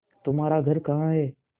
तुम्हारा घर कहाँ है